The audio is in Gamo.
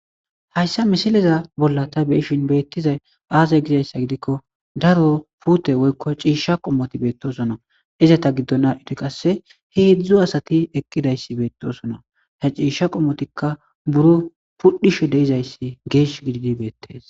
hayssa misileza bolla ta beshin beettizay aazey gizayssa gidikko daro puute woykko ciisha qommoti beettosona izata giddona ite qasse heedzdzu asati eqqidayssi beettosona he ciisha qommotikka buro pudhisho deizayssi geesh gididi beettees